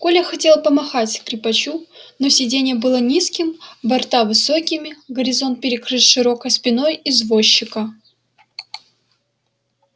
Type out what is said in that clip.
коля хотел помахать скрипачу но сиденье было низким борта высокими горизонт перекрыт широкой спиной извозчика